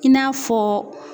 I n'a fɔ